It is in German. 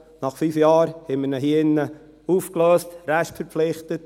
– Nach fünf Jahren lösten wir ihn hier drinnen auf, restverpflichtet.